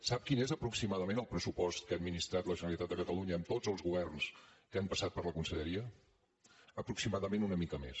sap quin és aproximadament el pressupost que ha administrat la generalitat de catalunya amb tots els governs que han passat per la conselleria aproximadament una mica més